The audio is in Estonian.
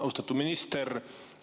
Austatud minister!